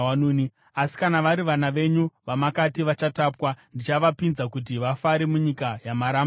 Asi kana vari vana venyu vamakati vachatapwa, ndichavapinza kuti vafare munyika yamaramba imi.